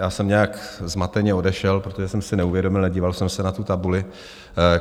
Já jsem nějak zmateně odešel, protože jsem si neuvědomil, nedíval jsem se na tu tabuli.